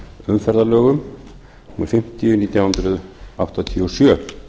umferðarlögum númer fimmtíu nítján hundruð áttatíu og sjö